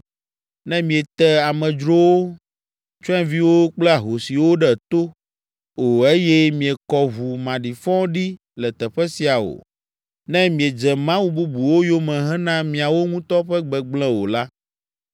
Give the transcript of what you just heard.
ne miete amedzrowo, tsyɔ̃eviwo kple ahosiwo ɖe to o eye miekɔ ʋu maɖifɔ ɖi le teƒe sia o; ne miedze mawu bubuwo yome hena miawo ŋutɔ ƒe gbegblẽ o la,